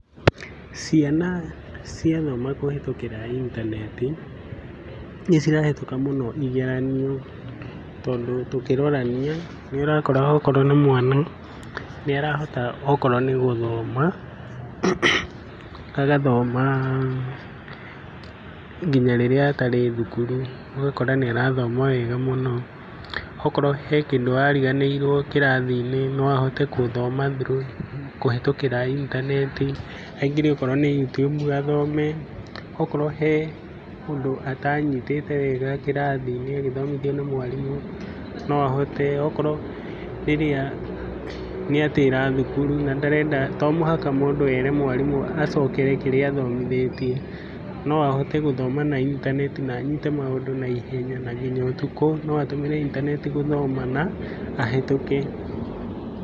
Ciana ciathoma kũhĩtũkĩra intaneti, nĩ cirahĩtũka mũno igeranio tondũ tũkĩrorania, nĩ ũrakora okorwo nĩ mwana nĩ arahota okorwo nĩ gũthoma, agathoma nginya rĩrĩa atarĩ thukuru, ũgakora nĩ arathoma wega mũno. Okorwo he kĩndũ ariganĩirwo kĩrathi-inĩ, no ahote gũthoma through kũhĩtũkĩra intaneti, aingĩre okorwo nĩ Youtube athome, okorwo he ũndũ atanyitĩte wega kĩrathi-inĩ agĩthomithio nĩ mwarimũ no ahote, okorwo rĩrĩa nĩ a tĩra thukuru na ndarenda, to mũhaka mũndũ ere mwarimũ acokere kĩrĩa athomithĩtie, no ahote gũthoma na intaneti na anyite maũndũ naihenya. Na nginya ũtukũ no ahũthĩre intaneti gũthoma na ahetũke.